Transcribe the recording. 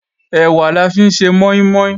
Ẹ̀wà la fi ń ṣe mọ́ín-mọ́ín